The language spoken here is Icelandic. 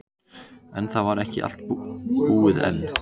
En það var ekki allt búið enn.